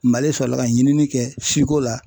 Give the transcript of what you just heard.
Mali sɔrɔla ka ɲinini kɛ siko la.